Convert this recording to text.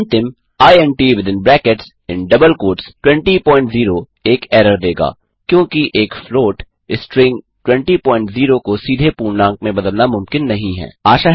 और अंतिम int200 एक एरर देगा क्योंकि एक फ्लॉट स्ट्रिंग 200 को सीधे पूर्णांक में बदलना मुमकिन नहीं है